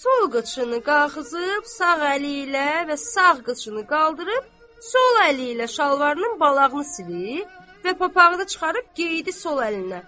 Sol qıçını qaxızıb sağ əli ilə və sağ qıçını qaldırıb sol əli ilə şalvarının balağını silib və papağı da çıxarıb geydi sol əlinə.